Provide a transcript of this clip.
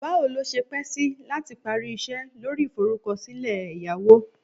Bawo lo se pe si lati pari ise lori iforukosile eyawo?